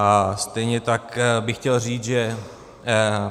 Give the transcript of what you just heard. A stejně tak bych chtěl říct, že